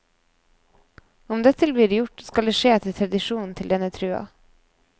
Om dette blir gjort, skal det skje etter tradisjonen til denne trua.